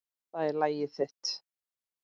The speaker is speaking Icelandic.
Það er lagið þitt.